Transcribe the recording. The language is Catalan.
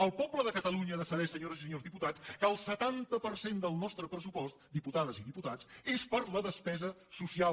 el poble de catalunya ha de saber senyores i senyors diputats que el setanta per cent del nostre pressupost diputades i diputats és per a la despesa social